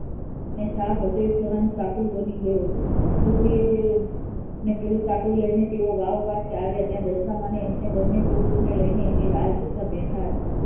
અને સાપ હતો એ સોનાનું સાકડું બની ગયો સુખડી અને પેલું સાકડું લઈ ને તેઓ વાવ પાસે આવ્યા. ત્યાં દશામાંને એમને બન્ને કૂવરોને લઈને એમની રાહ જોતાં બેઠાં હતા.